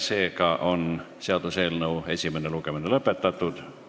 Seega on seaduseelnõu esimene lugemine lõpetatud.